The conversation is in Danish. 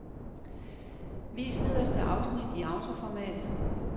Vis nederste afsnit i autoformat.